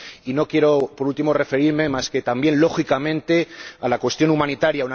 Y no quiero, por último, sino referirme también —lógicamente— a la cuestión humanitaria.